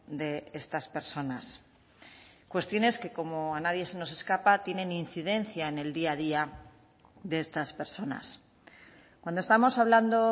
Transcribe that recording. de estas personas cuestiones que como a nadie se nos escapa tienen incidencia en el día a día de estas personas cuando estamos hablando